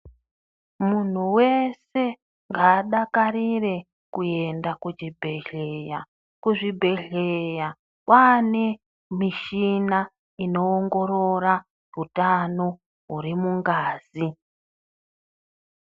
Muntu vese ngaadakarire kuenda kuchibhedhleya. Kuzvibhedhleya kwane mushina inoongorora hutano hurimungazi.